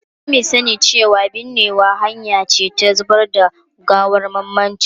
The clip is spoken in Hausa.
Sami sani cewa binnewa hanya ce ta zubar da gawar mamaci.